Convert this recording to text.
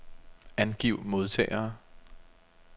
Angiv modtagere.